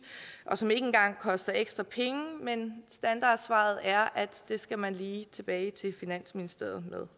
og som ikke engang koster ekstra penge men standardsvaret er at det skal man lige tilbage til finansministeriet med